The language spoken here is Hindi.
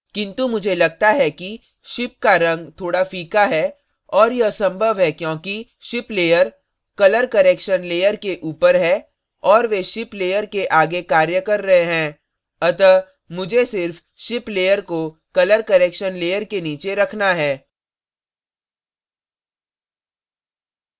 किन्तु मुझे लगता है कि ship का रंग थोड़ा फीका है और यह संभव है क्योंकी ship layer colour correction layer के ऊपर है और वे ship layer के आगे कार्य कर रहे हैं अतः मुझे सिर्फ ship layer को colour correction layer के नीचे रखना है